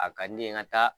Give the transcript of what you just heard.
A ka di ne ye n ka taa